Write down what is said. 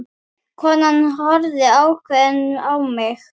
Konan horfði ákveðin á mig.